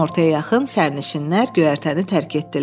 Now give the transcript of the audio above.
Günortaya yaxın sənişinlər göyərtəni tərk etdilər.